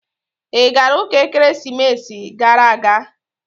Ị gara ụka ekeresimesi gara aga?